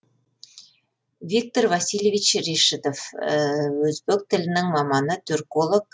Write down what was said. виктор васильевич решетов өзбек тілінің маманы турколог